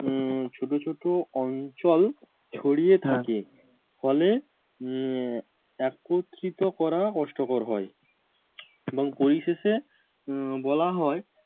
উম ছোট ছোট অঞ্চল ছড়িয়ে থাকে ফলে উম আহ একত্রিত করা কষ্টকর হয় এবং পরিশেষে উহ বলা হয়